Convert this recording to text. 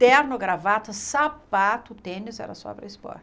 Terno, gravata, sapato, tênis, era só para